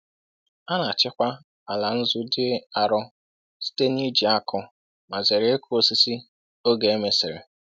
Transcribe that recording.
A na-achịkwa ala nzu dị arọ site n’iji ákụ ma zere ịkụ osisi oge e mesịrị.